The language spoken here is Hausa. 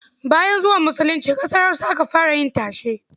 Bayan zuwan musulunci ƙasar Hausa aka fara yin tashe.